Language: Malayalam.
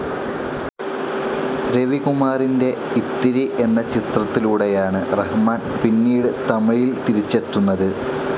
രവികുമാറിൻ്റെ ഇത്തിരി എന്ന ചിത്രത്തിലൂടെയാണ് റഹ്മാൻ പിന്നീട് തമിഴിൽ തിരിച്ചെത്തുന്നത്.